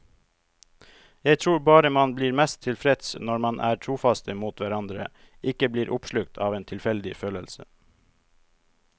Jeg tror bare man blir mest tilfreds når man er trofaste mot hverandre, ikke blir oppslukt av en tilfeldig følelse.